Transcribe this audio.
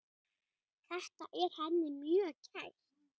Þetta er henni mjög kært.